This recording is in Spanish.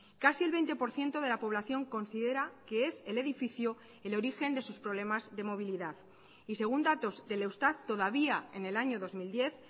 casi el veinte por ciento de la población considera que es el edificio el origen de sus problemas de movilidad y según datos del eustat todavía en el año dos mil diez